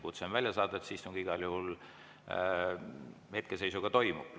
Kutse on välja saadetud, see istung hetkeseisuga igal juhul toimub.